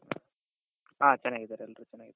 ಹ ಚೆನ್ನಾಗಿದಾರೆ ಎಲ್ಲರೂ ಚೆನ್ನಾಗಿದಾರೆ.